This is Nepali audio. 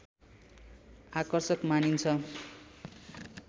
आकर्षक मानिन्छ